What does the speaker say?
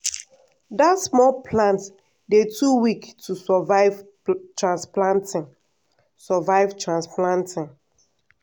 dat small plant dey too weak to survive transplanting. survive transplanting.